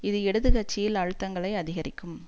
இது இடது கட்சியில் அழுத்தங்களை அதிகரிக்கும்